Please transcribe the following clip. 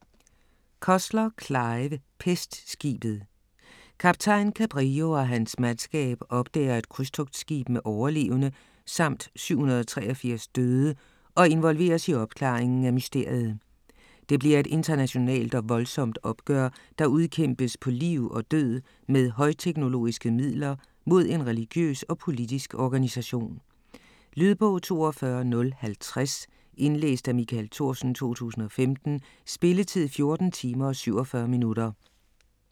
Cussler, Clive: Pestskibet Kaptajn Cabrillo og hans mandskab opdager et krydstogtskib med overlevende samt 783 døde og involveres i opklaringen af mysteriet. Det bliver et internationalt og voldsomt opgør, der udkæmpes på liv og død med højteknologiske midler mod en religiøs og politisk organisation. Lydbog 42050 Indlæst af Michael Thorsen, 2015. Spilletid: 14 timer, 47 minutter.